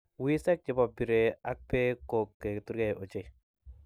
Wiseek che bo piree akb beek ko keturkei ochei.